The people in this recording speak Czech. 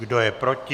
Kdo je proti?